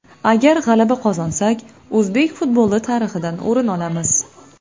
Agar g‘alaba qozonsak, o‘zbek futboli tarixidan o‘rin olamiz.